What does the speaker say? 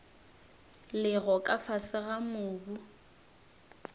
lego ka fase ga mobu